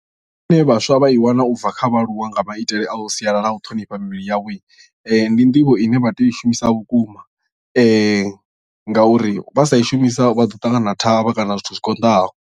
Zwine vhaswa vha i wana ubva kha vhaaluwa nga maitele a sialala a u ṱhonifha mivhili yavho ndi nḓivho ine vha tea u i shumisa vhukuma ngauri vha sa i shumisa vha ḓo ṱangana na thavha kana zwithu zwi konḓaho.